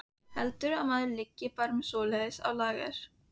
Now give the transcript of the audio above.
Heldurðu að maður liggi bara með svoleiðis á lager.